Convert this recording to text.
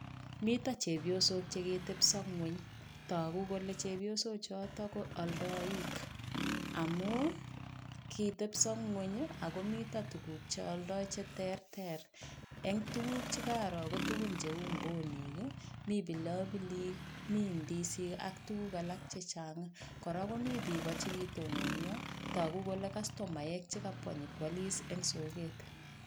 Mito chepyosok che kitebso ngony, toku kole chepyosochoto ko aldoik, amu kitebso nguny ako mito tuguk che aldoi che terter, eng tuguk chekaro ko tugun cheu mbonik, mi pilopilik, mi ndisik ak tuguk alak chechang, kora komi biiko chi kitononio toku kole kastomaek che kabwa nyokwalis eng soket.